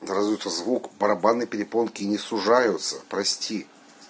да разве это звук барабанные перепонки не сужаются прости